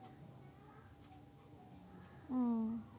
আহ